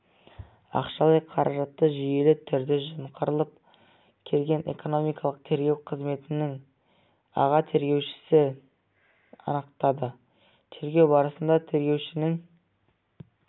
ақшалай қаражатты жүйелі түрде жымқырып келген экономикалық тергеу қызметінің аға тергеушісін анықтады тергеу барысында тергеушінің